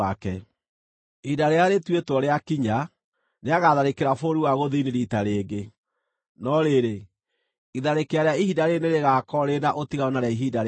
“Ihinda rĩrĩa rĩtuĩtwo rĩakinya, nĩagatharĩkĩra bũrũri wa gũthini riita rĩngĩ, no rĩrĩ, itharĩkĩra rĩa ihinda rĩĩrĩ nĩrĩgakorwo rĩrĩ na ũtiganu na rĩa ihinda rĩa mbere.